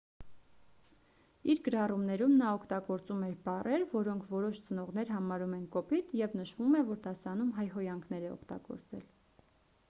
իր գրառումներում նա օգտագործում էր բառեր որոնք որոշ ծնողներ համարում են կոպիտ և նշվում է որ դասարանում հայհոյանքներ է օգտագործել